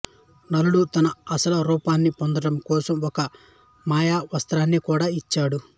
నలుడు తన అసలు రూపాన్ని పొందడం కోసం ఒక మాయ వస్త్రాన్ని కూడా ఇచ్చాడు